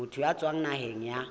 motho ya tswang naheng ya